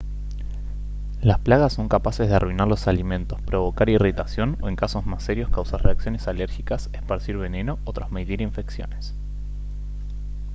las plagas son capaces de arruinar los alimentos provocar irritación o en casos más serios causar reacciones alérgicas esparcir veneno o transmitir infecciones